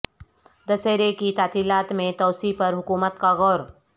دسہرہ کی تعطیلات میں توسیع پر حکومت کا غور